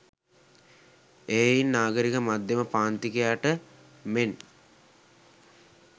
එහෙයින් නාගරික මධ්‍යම පාන්තිකයාට මෙන්